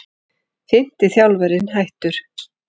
Fimmti þjálfarinn hættur